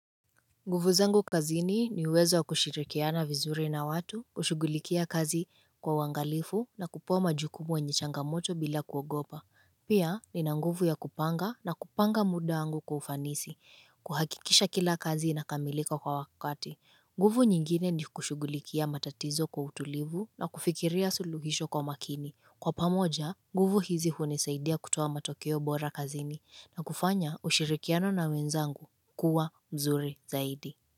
Nguvu zangu kazini ni uwezo kushirikiana vizuri na watu, kushughulikia kazi kwa uangalifu na kupowa majukumu wenye changamoto bila kuogopa. Pia nina nguvu ya kupanga na kupanga muda angu kwa ufanisi, kuhakikisha kila kazi inakamilika kwa wakati. Nguvu nyingine ni kushugulikia matatizo kwa utulivu na kufikiria suluhisho kwa makini. Kwa pamoja, nguvu hizi hunisaidia kutoa matokeo bora kazini na kufanya ushirikiano na wenzangu kuwa mzuri zaidi.